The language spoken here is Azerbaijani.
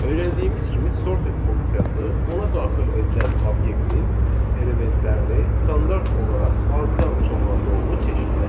Öyrəndiyimiz kimi sorted funksiyası ona daxil edilən obyektin elementlərini standart olaraq azdan çoxa doğru çeşidləyir.